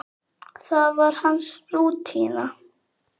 Það var hans rútína.